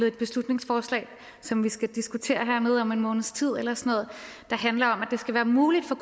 et beslutningsforslag som vi skal diskutere hernede om en måneds tid der handler om at det skal være muligt for